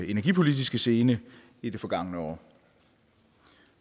energipolitiske scene i det forgangne år